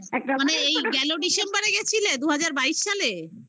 মানে এই গেলো December গেছিলে দু হাজার বাইশ সালে